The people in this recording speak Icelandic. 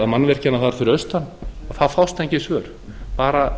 mannvirkjanna þar fyrir austan þá fást engin svör bara